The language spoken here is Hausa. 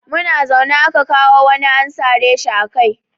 Muna zaune aka kawo wani an sare shi a kai.